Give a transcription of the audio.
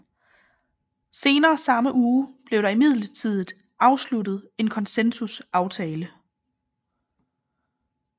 Senere samme uge blev der imidlertid afsluttet en konsensusaftale